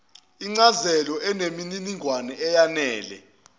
incazelo eneminingwane eyenele